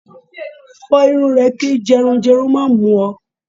Fọrùn rẹ kí jẹrun jẹrun má mú ọ!